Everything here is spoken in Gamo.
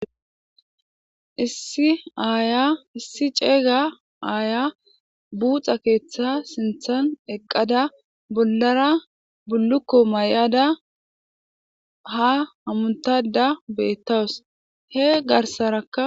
issi aaya issi ceeyga aaya buuxa keeththa sinthan eqqada bollara bullukko may7ada ha hamuntada bettawus he garsarakka